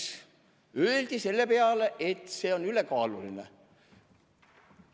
Selle peale öeldi, et ülekaalulisusest.